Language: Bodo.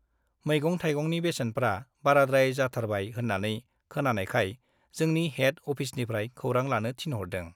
मैगं थाइगंनि बेसेनफ्रा बाराद्राय जाथारबाय होन्नानै खोनानायखाय जोंनि हेड अफिसनिफ्राइ खौरां लानो थिनहरदों ।